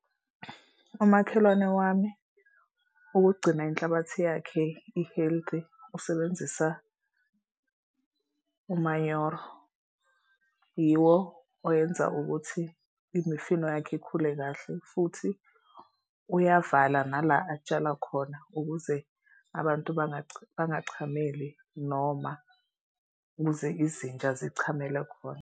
Umakhelwane wami ukugcina inhlabathi yakhe i-heathly usebenzisa umanyoro. Yiwo owenza ukuthi imifino yakhe ikhule kahle futhi uyavala nala atshala khona ukuze abantu bangachameli noma ukuze izinja zichamele khona.